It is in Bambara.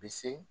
Bi se